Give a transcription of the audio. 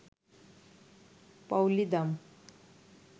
পাউলি দাম